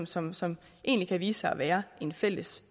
som som kan vise sig at være en fælles